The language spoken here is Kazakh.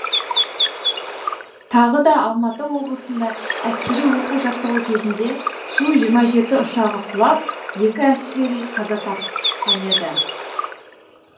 тағы да алматы облысында әскери оқу жаттығу кезінде су жиырма жеті ұшағы құлап екі әскери қаза тапқан еді